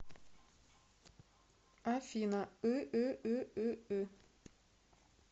афина ыыыыы